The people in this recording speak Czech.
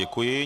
Děkuji.